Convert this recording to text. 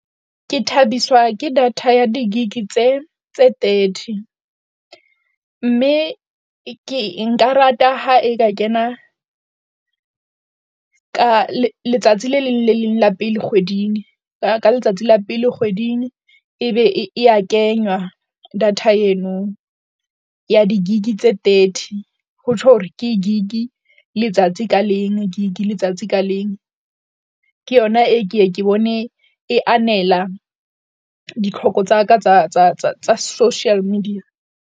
Ke thabiswa ke data ya di-gig tse tse thirty, mme ke nka rata ha e ka kena ka letsatsi le leng le leng la pele kgweding ka letsatsi la pele kgweding ebe e ya kenywa data eno ya di-gig-i tse thirty. Ho tjho hore ke gig-i letsatsi ka leng, gig-i letsatsi ka leng. Ke yona e ke yenke bone e anela ditlhoko tsa ka tsa tsa tsa tsa social media.